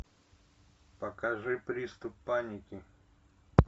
покажи приступ паники